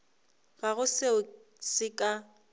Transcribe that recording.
ga go seo se ka